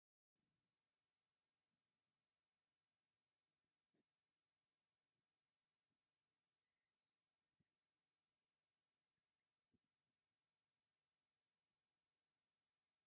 ጉተንኡ ሰንቲሩ ኣብ ማእከል ርእሱ ድማ ጠስሚ ገይሩ በትሪ ድማ ብኢዱ ሒዙ ይርከብ ። እቲ ተከዲንዋ ዘሎ ባህላዊ ክዳን እንታይ ይባሃል ?